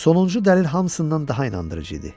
Sonuncu dəlil hamısından daha inandırıcı idi.